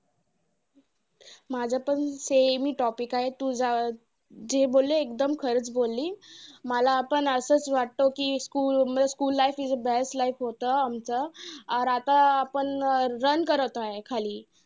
माझा पण same topic आहे. तू जा अं जे बोलली ते एकदम खरंच बोलली. मला पण असच वाटतं, कि school school life is best life होतं आमचं. आता आपण run करत आहे खाली.